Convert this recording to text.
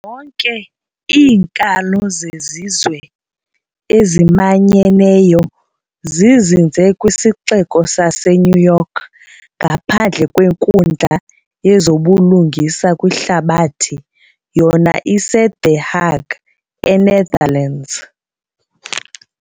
Zonke iinkalo zezizwe ezimanyeneyo zizinze kwisixeko saseNew York, ngaphandle kwe Nkundla yezobuLungisa kwiHlabathi yona ise-The Hague e-Netherlands.